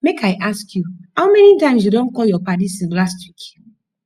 make i ask you how many times you don call your paddy since last week